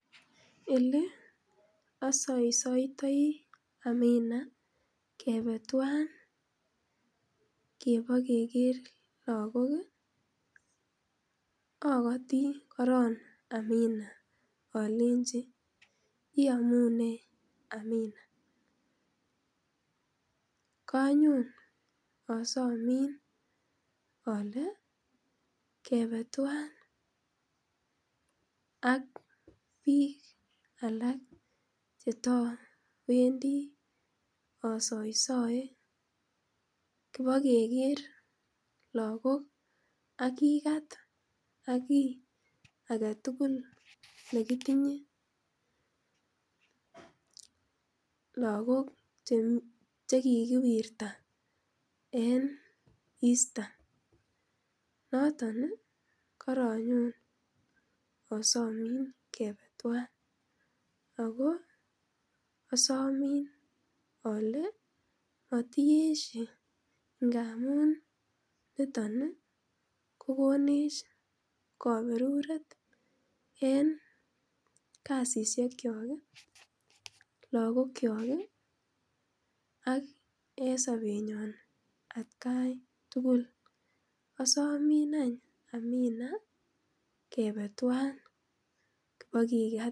Ele asoitoitoi Amina kebe tuwab ibokeker lagok ii, akoti korong Amina alenji iyomunee Amina kanyon asomin ale kebee tuwan ak biik alak chetowendi asaisae kibokeker lagok akikat aki agetugul nekitinyee, lagok chekikiwirta en Eastern noton ii karanyon asomin kebee tuwan akoo asomin alee motiesie ngamun niton kokonech kaberuret en kasisiekyok. lagokyok ak en sobenyon atkai tugul asomin any Amina kebee tuwan kibakikat.